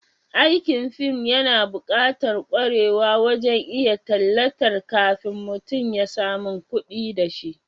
Aikin fim yana bukatar kwarewa wajen iya tallatar kafin mutum ya samun kudi dashi